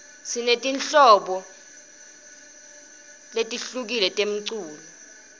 sineti nhiobo letiryfrti temcuco